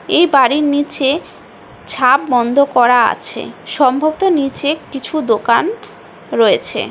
এ বাড়ির নিচে ঝাঁপ বন্ধ করা আছে সম্ভবত নিচে কিছু দোকান রয়েছে ।